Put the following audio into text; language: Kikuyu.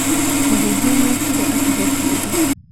mũhunjia nĩokĩre atũhe kiugo.